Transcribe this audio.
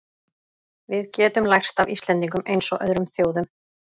Við getum lært af Íslendingum eins og öðrum þjóðum.